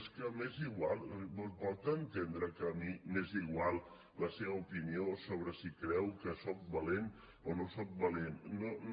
és que m’és igual pot entendre que a mi m’és igual la seva opinió sobre si creu que soc valent o no soc valent no no